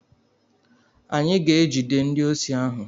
Anyị ga-egide ndi osi ahụ.